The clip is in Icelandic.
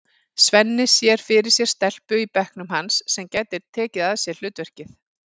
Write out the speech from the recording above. Svenni sér fyrir sér stelpu í bekknum hans sem gæti tekið að sér hlutverkið.